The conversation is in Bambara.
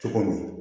Cogo min